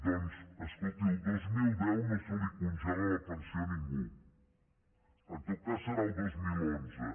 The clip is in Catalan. doncs escolti el dos mil deu no se li congela la pensió a ningú en tot cas serà al dos mil onze